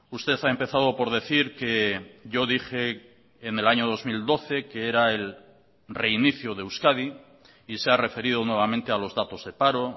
usted ha empezado por decir que yo dije en el año dos mil doce que era el reinicio de euskadi y se ha referido nuevamente a los datos de paro